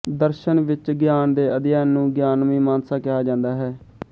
ਦਰਸ਼ਨ ਵਿਚ ਗਿਆਨ ਦੇ ਅਧਿਐਨ ਨੂੰ ਗਿਆਨ ਮੀਮਾਂਸਾ ਕਿਹਾ ਜਾਂਦਾ ਹੈ